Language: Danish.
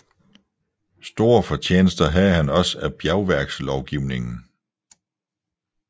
Store fortjenester havde han også af bjergværkslovgivningen